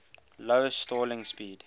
low stalling speed